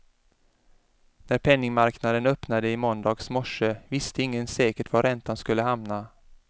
När penningmarknaden öppnade i måndags morse visste ingen säkert var räntan skulle hamna.